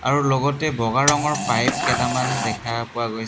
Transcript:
আৰু লগতে বগা ৰঙৰ পাইপ কেইটামান দেখা পোৱা গৈছে।